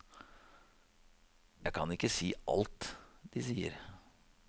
Jeg kan ikke si alt de sier.